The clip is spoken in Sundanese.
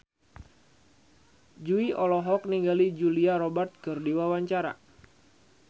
Jui olohok ningali Julia Robert keur diwawancara